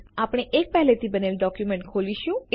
આપણે એક પેહલે થી બનેલ ડોક્યુમેન્ટ ખોલીશું